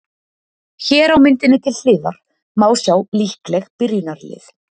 Hér á myndinni til hliðar má sjá líkleg byrjunarlið.